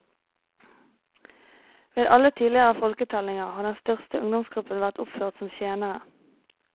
Ved alle tidligere folketellinger har den største ungdomsgruppa vært oppført som tjenere.